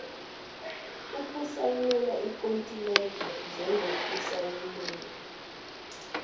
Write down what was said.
ukusayina ikontileka njengosayinela